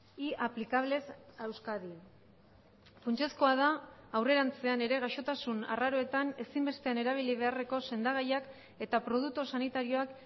y aplicables a euskadi funtsezkoa da aurrerantzean ere gaixotasun arraroetan ezinbestean erabili beharreko sendagaiak eta produktu sanitarioak